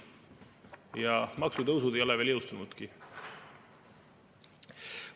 Ja maksutõusud ei ole veel jõustunudki.